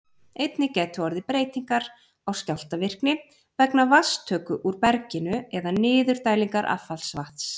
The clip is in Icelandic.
Einnig gætu orðið breytingar á skjálftavirkni vegna vatnstöku úr berginu eða niðurdælingar affallsvatns.